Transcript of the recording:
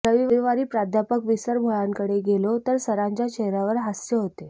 रविवारी प्राध्यापक विसरभोळ्यांकडे गेलो तर सरांच्या चेहऱ्यावर हास्य होते